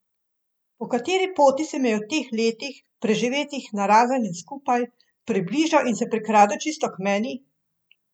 Po kateri poti se mi je v teh letih, preživetih narazen in skupaj, približal in se prikradel čisto k meni?